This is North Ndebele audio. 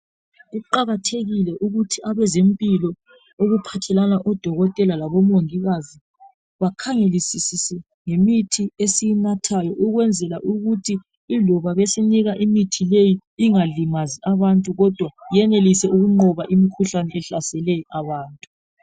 Kuqakathekile ukuthi abazempilo okuphathelana odokotela labomongikazi bakhangelisise ngemithi esiyinathayo ukwenzela ukuthi iloba besinika imithi leyi ingalimazi abantu kodwa yenelise ukunqoba imikhuhlane ehlaseleyo abantu.